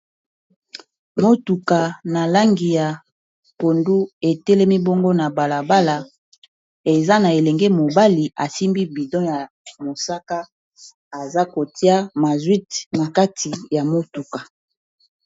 Motuka na langi ya pondu etelemi bongo na bala bala eza na elenge mobali asimbi bido ya mosaka aza kotia mazouti nakati ya motuka.